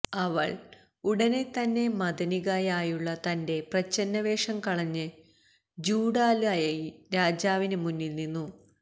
അവള് ഉടനെതന്നെ മദനികയായുള്ള തന്റെ പ്രച്ഛന്നവേഷം കളഞ്ഞ് ചൂഡാലയായി രാജാവിന് മുന്നില് നിന്നു